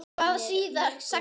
Hvað þýða sagnir?